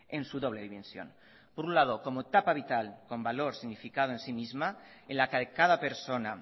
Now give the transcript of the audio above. en su doble dimensión por un lado como etapa vital con valor significado en sí misma en la que cada persona